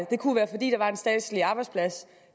det kunne være fordi der var en statslig arbejdsplads